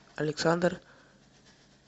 александр